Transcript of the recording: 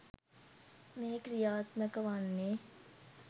මේ ක්‍රියාත්මක වන්නේ.